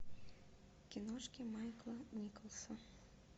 киношки майкла николса